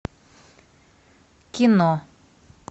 кино